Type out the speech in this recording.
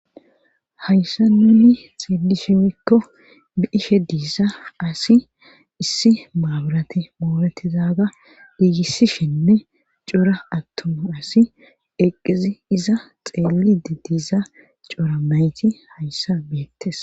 Hayssa nuuni xielishe wikko biishe diisa asi issi maaburati moobetizaaga diigissishenne cora attuma asi eqqizi iza xeeli di diiza coora mayti hayssa beettes